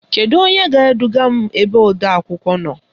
Kedu onye ga-eduga m ebe odeakwụkwọ nọ?